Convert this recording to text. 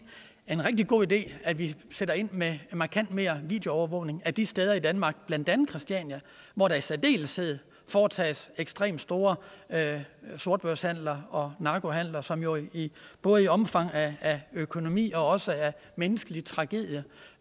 en rigtig god idé at vi sætter ind med markant mere videoovervågning af de steder i danmark blandt andet christiania hvor der i særdeleshed foretages ekstremt store sortbørshandler og narkohandler som jo både i omfang af økonomi og også af menneskelig tragedie